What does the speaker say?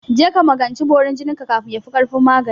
Je ka magance borin jinin ka kafin yafi ƙarfin magani!